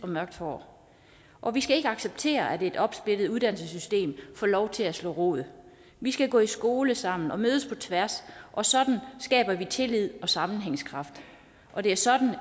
mørkt hår og vi skal ikke acceptere at et opsplittet uddannelsessystem får lov til at slå rod vi skal gå i skole sammen og mødes på tværs sådan skaber vi tillid og sammenhængskraft og det er sådan